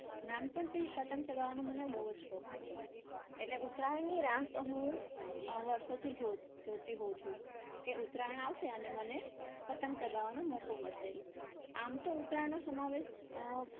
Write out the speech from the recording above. નાનપણથી જ પતંગ ચગાવવાનો મને બહુ જ શોખ હતો. એટલે ઉત્તરાયણની રાહ તો હું અમ વર્ષોથી જોતી હોઉં છું કે ઉત્તરાયણ આવશે ને મને પતંગ ચગાવવાનો મોકો મળશે. આમ તો ઉત્તરાયણનો સમાવેશ અમ